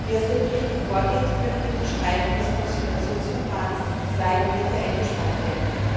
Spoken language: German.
Wie aus dem Bericht hervorgeht, können durch die Streichung des Konsultationsverfahrens zwei Monate eingespart werden.